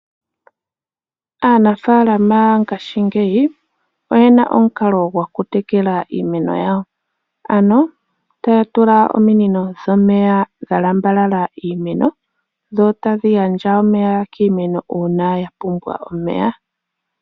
Aanafalama mongashingeyi oyena omikalo dhokutekela iimeno yawo. Ohaya kala yena ominino dhalamba omikanka mpoka pena iimeno tadhi kala tadhi gandja omeya uuna yapumbwa omeya.